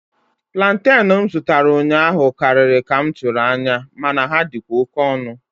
Plantain m zụtara ụnyaahụ karịrị ka m tụrụ anya, mana ha dịkwa oke ọnụ.